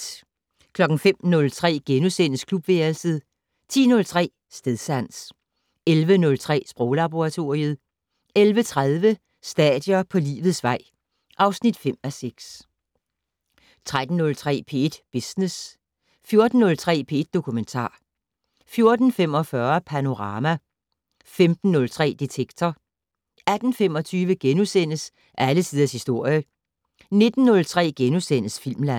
05:03: Klubværelset * 10:03: Stedsans 11:03: Sproglaboratoriet 11:30: Stadier på livets vej (5:6) 13:03: P1 Business 14:03: P1 Dokumentar 14:45: Panorama 15:03: Detektor 18:25: Alle tiders historie * 19:03: Filmland *